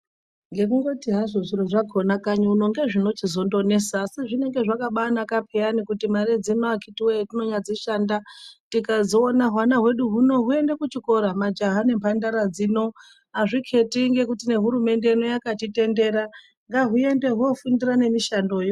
Ngekunhoti hazvo zviro zvakhona kanyi uno ngezvinonesa asi zvinenge zvakabaanaka payani kuti mare dzino akhiti woye tanyadzishanda tikadziona hwana hwedu huno huende kuchikora majaha nemhandara dzino azviketi nekuti hurumende yakatitendera ngahuende hwofundira nemushando.